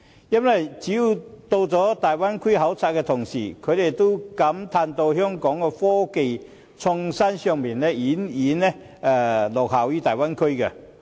因為只要是曾到訪大灣區考察的同事，也會感嘆香港在科技創新上已遠遠落後於大灣區。